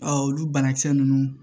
olu banakisɛ ninnu